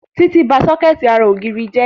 Títí ba sọ́kẹ̀tì ara ògiri jẹ́